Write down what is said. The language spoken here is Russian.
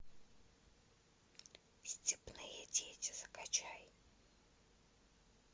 степные дети закачай